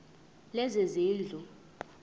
lezezindlu